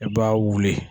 I b'a wuli